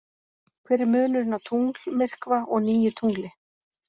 Hver er munurinn á tunglmyrkva og nýju tungli?